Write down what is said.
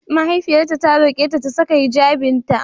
Mahaifiyarta ta roƙe ta 'Ta saka hijjabinta!'